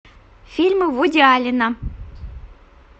фильмы вуди аллена